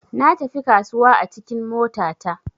Natafi kasuwa a cikin mota ta.